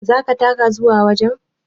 Zaka taka zuwa wajen?